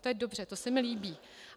To je dobře, to se mi líbí.